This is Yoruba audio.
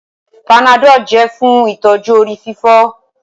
Panadol jẹ fún ìtọjú orí-fífọ́